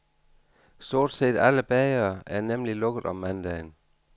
Stort set alle bagere er nemlig lukket om mandagen.